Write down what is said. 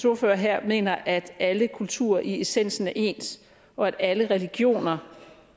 ordfører her mener at alle kulturer i essensen er ens og at alle religioner